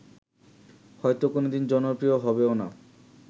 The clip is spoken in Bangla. হয়ত কোনদিন জনপ্রিয় হবেও না